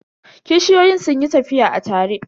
Kishiyoyin sun yi tafiya a tare.